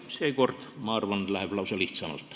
Seekord, ma arvan, läheb isegi lihtsamalt.